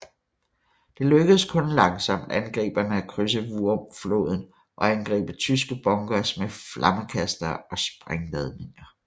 Det lykkedes langsomt angriberne at krydse Wurmfloden og angribe tyske bunkers med flammekastere og sprængladninger